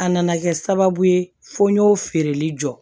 A nana kɛ sababu ye fo n y'o feereli jɔ